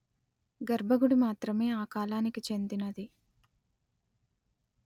గర్భగుడి మాత్రమే ఆ కాలానికి చెందినది